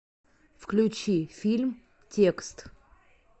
включи фильм текст